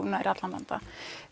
nær allan vanda